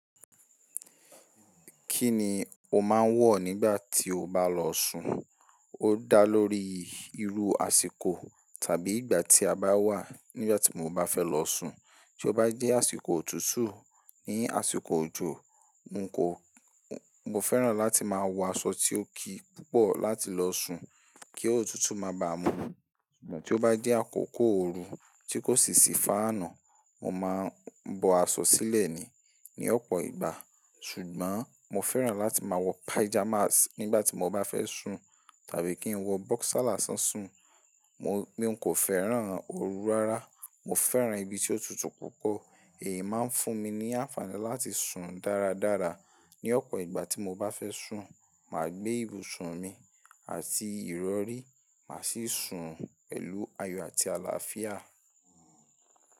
Kí ni o máa ń wọ̀ nígbà tí o bá lọ sùn? Ó dá lórí irú àsìkò tàbí ìgbà tí a bá wà. Nígbà tí mo bá fẹ́ lọ sùn, tí ó bá jẹ́ àsìkò òtútù ní àsìkò òjò, n kò, mo fẹ́ràn láti máa wọ aṣọ tí ó ki púpọ̀ láti lọ sùn kí òtútù máa ba à mú. Ṣùgbọ́n tí ó bá jẹ́ àkókò ooru tí kò sì sí fáànù, mo máa ń bọ aṣọ sílẹ̀ ni, ní ọ̀pọ̀ ìgbà. Ṣùgbọ́n mo fẹ́ràn láti máa wọ pajamas nígbà tí mo bá fẹ́ sùn tàbí kí n wọ boxer lásán sùn. Mo, mí n kò fẹ́ràn oru rárá. Mo fẹ́ràn ibi tí ó tutù púpọ̀. Èyí máa ń fún mi ní ànfàní láti sùn dára dára. Ni ọ̀pọ̀ ìgbà tí mo bá fẹ́ sùn, màá gbé ibùsùn mi àti ìrọrí, màá sì sùn pẹ̀lú ayọ̀ àti àlàáfíà.